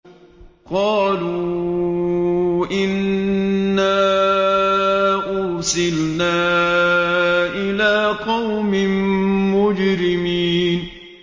قَالُوا إِنَّا أُرْسِلْنَا إِلَىٰ قَوْمٍ مُّجْرِمِينَ